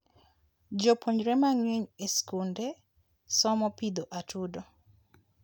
jopuonjre mangeny e skunde somo pidho atudo